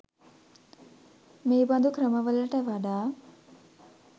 මේ බඳු ක්‍රමවලට වඩා